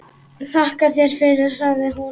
Þakka þér fyrir, sagði hún.